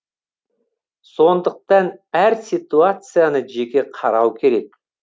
сондықтан әр ситуацияны жеке қарау керек